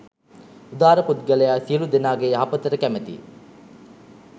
උදාර පුද්ගලයා සියලු දෙනාගේ යහපතට කැමැතියි